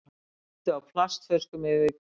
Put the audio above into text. Sigldu á plastflöskum yfir Kyrrahafið